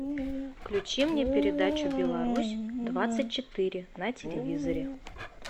включи мне передачу беларусь двадцать четыре на телевизоре